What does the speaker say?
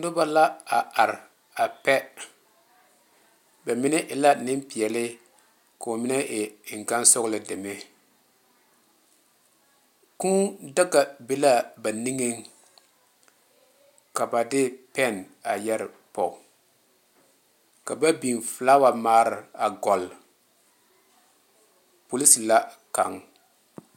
Noba la a are pɛ ba mine e la neŋ pɛle ka ba mine e eŋ gaŋ soɔloŋ deme Kūū daga be la ba niŋe soŋe ka ba de pɛne a yɛre poɔ ka ba beŋ felawa mare goli polisi la kaŋa.